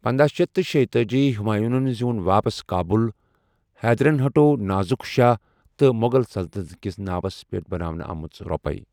پندہَ شیتھ تہٕ شیتأجی ہُمایونن زیوٗن واپس کابُل، حیدرن ہَٹو نازک شاہ تہٕ مغل سلطنت کِس ناوس پٮ۪ٹھ بناونہٕ آمژٕ رۅپیہِ۔